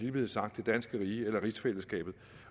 er blevet sagt det danske rige eller rigsfællesskabet